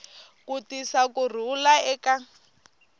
ku tisa ku rhula eka